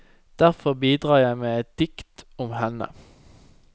Derfor bidrar jeg med et dikt om henne.